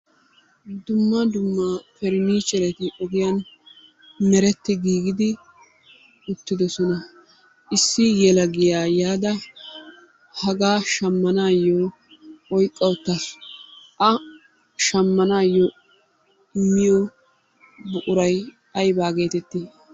Dumma dumma pereniichereti ogiyan meretti giigidi uttidosona. Issi yelagiya yaada hagaa shammanaayo oyiqqa uttasu. A shammanaayo immiyo buquray ayibaa geetetii?